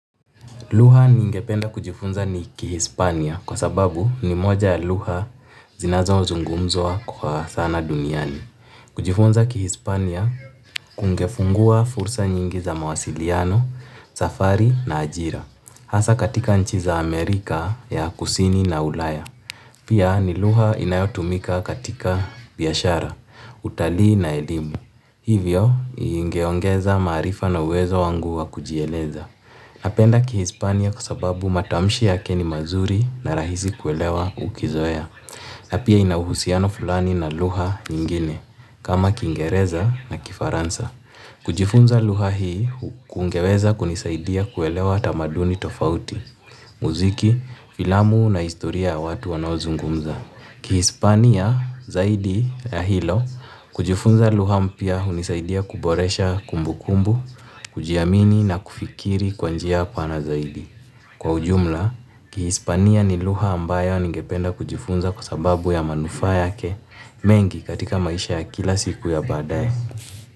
Lugha niingependa kujifunza ni ki hispania kwa sababu ni moja ya lugha zinazozungumzwa kwa sana duniani. Kujifunza kihispania kungefungua fursa nyingi za mawasiliano, safari na ajira. Hasa katika nchi za Amerika ya kusini na ulaya. Pia ni lugha inayotumika katika biashara, utalii na elimu. Hivyo ingeongeza maarifa na uwezo wangu wa kujieleza. Napenda kihispania kwa sababu matamshi yake ni mazuri na rahisi kuelewa ukizoea. Na pia ina uhusiano fulani na lugha nyingine kama kingereza na kifaransa. Kujifunza lugha hii kungeweza kunisaidia kuelewa tamaduni tofauti, muziki, filamu na historia ya watu wanozungumza. Kihispania zaidi ya hilo kujufunza lugha mpya unisaidia kuboresha kumbukumbu, kujiamini na kufikiri kwa njia pana zaidi. Kwa ujumla, Kihispania ni lugha ambayo ningependa kujifunza kwa sababu ya manufaa yake mengi katika maisha ya kila siku ya baadaye.